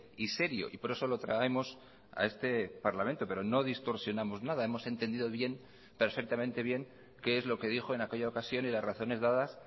y serio y por eso lo traemos a este parlamento pero no distorsionamos nada hemos entendido bien perfectamente bien qué es lo que dijo en aquella ocasión y las razones dadas